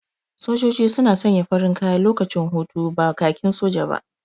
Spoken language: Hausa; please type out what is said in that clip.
Sojoji suna sanya farin kaya lokacin hutu, ba kakin soja ba.